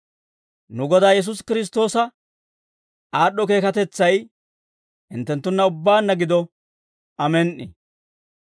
Nu Godaa Yesuusi Kiristtoosa aad'd'o keekatetsay hinttenttunna ubbaanna gido. Amen"i.